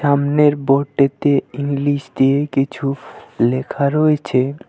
সামনের বোর্ডটিতে ইংলিশ দিয়ে কিছু লেখা রয়েছে।